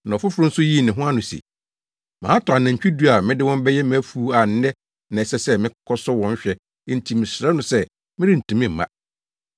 “Na ɔfoforo nso yii ne ho ano se, ‘Matɔ anantwi du a mede wɔn bɛyɛ mʼafuw a nnɛ na ɛsɛ sɛ mekɔsɔ wɔn hwɛ enti mesrɛ no sɛ merentumi mma.’